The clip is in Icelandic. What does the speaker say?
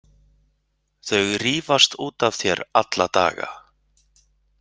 Þau rífast út af þér alla daga.